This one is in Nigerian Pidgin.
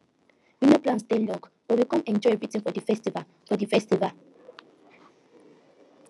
we no plan stay long but we come enjoy everything for di festival for di festival